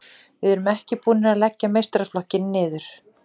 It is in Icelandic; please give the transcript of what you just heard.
Við erum ekki búnir að leggja meistaraflokkinn niður.